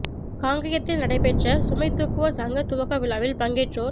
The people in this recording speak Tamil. காங்கயத்தில் நடைபெற்ற சுமை தூக்குவோர் சங்க துவக்க விழாவில் பங்கேற்றோர்